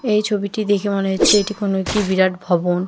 এই ছবিটি দেখে মনে হচ্ছে এটি কোন একি বিরাট ভবন।